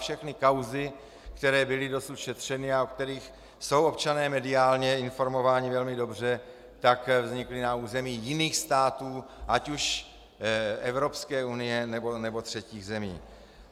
Všechny kauzy, které byly dosud šetřeny a o kterých jsou občané mediálně informováni velmi dobře, tak vznikly na území jiných států, ať už Evropské unie, nebo třetích zemí.